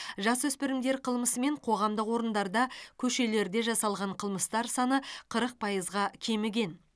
жасөспірімдер қылмысы мен қоғамдық орындарда көшелерде жасалған қылмыстар саны қырық пайызға кеміген